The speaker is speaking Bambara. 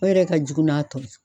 O yɛrɛ ka jugu n'a tɔ ye.